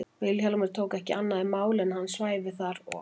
Vilhjálmur tók ekki annað í mál en að hann svæfi þar og